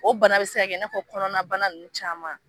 O bana be se ka bɛ i ne fɔ kɔnɔnabana ninnu caman